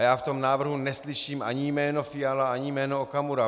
A já v tom návrhu neslyším ani jméno Fiala ani jméno Okamura.